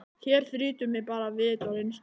Hér þrýtur mig bara vit og reynslu.